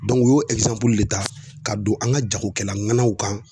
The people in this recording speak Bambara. u y'o de ta ka don an ka jagokɛlaw kan